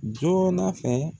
Joona fɛ.